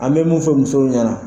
An bɛ mun fɔ musow ɲɛna.